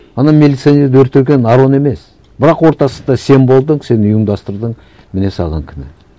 ана милиционерді өлтірген арон емес бірақ ортасында сен болдың сен ұйымдастырдың міне саған кінә